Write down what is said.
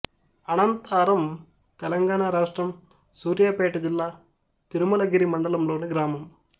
అనంతారం తెలంగాణ రాష్ట్రం సూర్యాపేట జిల్లా తిరుమలగిరి మండలంలోని గ్రామం